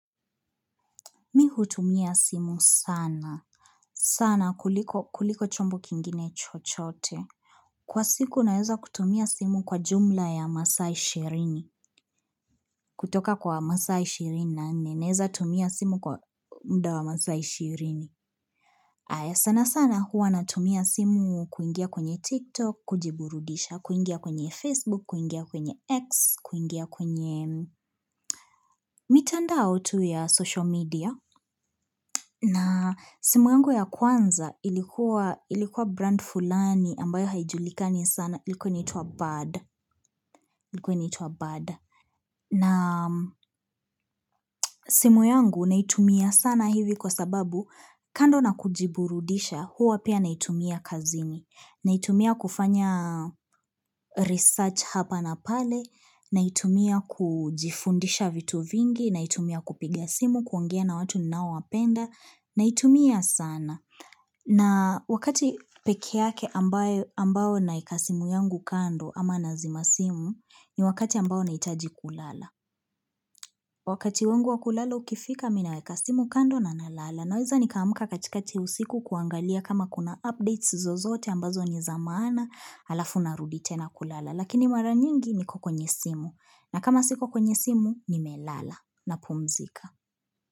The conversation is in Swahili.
Mi hutumia simu sana. Sana kuliko chombo kingine chochote. Kwa siku naeza kutumia simu kwa jumla ya masaa ishirini. Kutoka kwa masaa ishirini na nne naeza tumia simu kwa muda wa masaa ishirini. Haya sana sana huwa natumia simu kuingia kwenye TikTok, kujiburudisha, kuingia kwenye Facebook, kuingia kwenye X, kuingia kwenye mitandao tu ya social media. Na simu yangu ya kwanza ilikuwa ilikuwa brand fulani ambayo haijulikani sana ilikuwa inaitwa bird ilikuwa inaitwa bird. Na simu yangu naitumia sana hivi kwa sababu kando na kujiburudisha huwa pia naitumia kazini. Naitumia kufanya research hapa na pale, naitumia kujifundisha vitu vingi, naitumia kupiga simu kuongea na watu ninaowapenda, naitumia sana. Na wakati peke yake ambayo ambao naeka simu yangu kando ama nazima simu ni wakati ambao nahitaji kulala. Wakati wangu wa kulala ukifika mimi naeka simu kando na nalala. Naweza nika amka katikati usiku kuangalia kama kuna updates zozote ambazo ni za maana alafu narudi tena kulala. Lakini mara nyingi niko kwenye simu. Na kama siko kwenye simu nimelala napumzika.